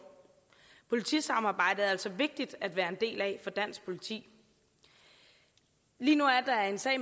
politisamarbejdet er altså vigtigt at være en del af for dansk politi lige nu er der en sag